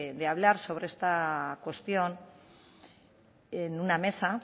de hablar sobre esta cuestión en una mesa